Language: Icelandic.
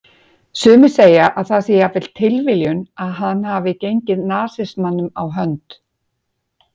Sumir segja að það sé jafnvel tilviljun að hann hafi gengið nasismanum á hönd.